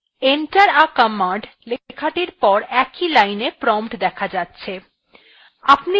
enter the command লেখাটির পর একই line prompt দেখা যাচ্ছে